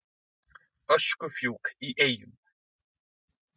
Öskufjúk í Eyjum